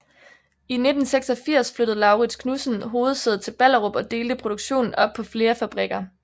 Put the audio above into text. I 1986 flyttede Laurids Knudsen hovedsædet til Ballerup og delte produktionen op på flere fabrikker